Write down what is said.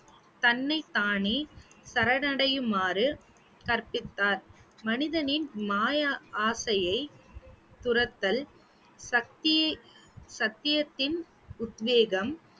தன்னைத்தானே சரணடையுமாறு கற்பித்தார் மனிதனின் மாய ஆசையை துரத்தல் சத்திய~ சத்தியத்தின் உத்வேகம்